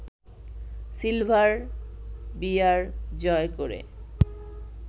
silver bear জয় করে